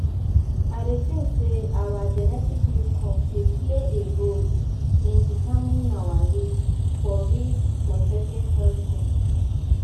I dey think say our genetic makeup dey play a role in determining our risk for risk for certain health condition.